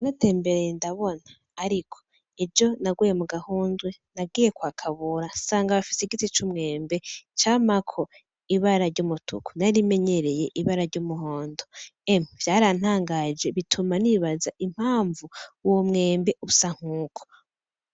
Naratembereye ndabona ariko ejo naguye mu gahundwe . Nagiye kwa Kabura nsanga bafise igiti c'umwembe camako ibara, ry'umutuku narimenyereye ibara, ry'umuhondo emwe vyarantangaje bituma nibaza impanvu uwo mwembe usa nkuko.